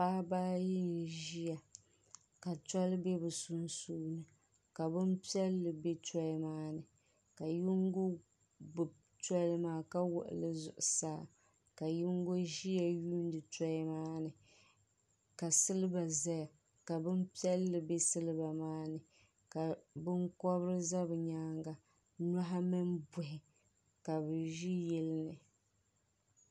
paɣaba ayi n-ʒiya ka tɔli be bɛ sunsuuni ka bini piɛlli be tɔli maa ni ka yingo gbubi tɔli maa ka wɔɣi li zuɣusaa ka yingo ʒiya yuundi tɔli maa ni ka siliba zaya ka bini piɛlli be siliba maa ni ka binkɔbiri za bɛ nyaaga nɔhi mini buhi ka bɛ ʒi yili ni.